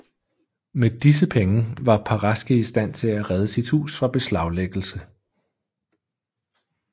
Med disse penge var Paraske i stand til at redde sit hus fra beslaglæggelse